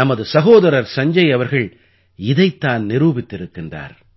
நமது சகோதரர் சஞ்ஜய் அவர்கள் இதைத் தான் நிரூபித்திருக்கிறார்